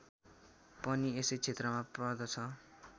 पनि यसै क्षेत्रमा पर्दछ